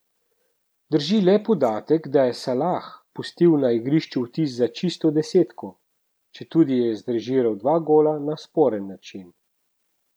Drži le podatek, da je Salah pustil na igrišču vtis za čisto desetko, četudi je zrežiral dva gola na sporen način.